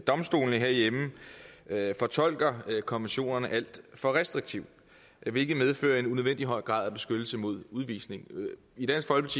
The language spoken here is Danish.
domstolene herhjemme fortolker konventionerne alt for restriktivt hvilket medfører en unødvendig høj grad af beskyttelse mod udvisning